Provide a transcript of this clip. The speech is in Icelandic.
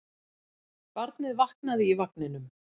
Barnið vaknaði í vagninum.